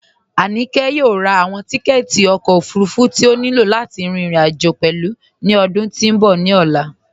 Aníkẹ yọ̀ò rá awọn tìkẹ̀tì ọkọ ofúrúfú tí o ní ilọ̀ láti rin irin-ajo pẹ̀lú ni ọdún tí n bọ̀ ni ọlá